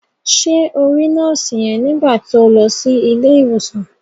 Ṣé o rí nọ́ọ̀sì yẹn nígbà to lọ sí ilé ìwòsàn?